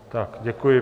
Tak děkuji.